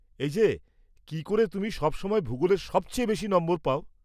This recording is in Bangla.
এই যে, কি করে তুমি সব সময় ভূগোলে সবচেয়ে বেশি নম্বর পাও?